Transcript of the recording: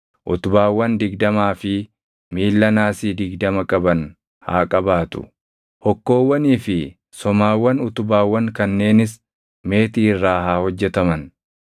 utubaawwan digdamaa fi miilla naasii digdama qaban haa qabaatu; hokkoowwanii fi somaawwan utubaawwan kanneenis meetii irraa haa hojjetaman.